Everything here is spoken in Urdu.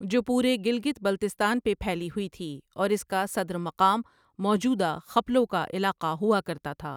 جو پورے گلگت بلتستان پے پھیلی ہوئی تھی اور اس کا صدر مقام موجودہ خپلو کا علاقہ ہوا کرتا تھا۔